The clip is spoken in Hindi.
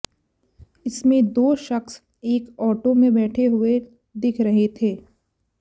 इसमें दो शख्स एक ऑटो में बैठे हुए दिख रहे थे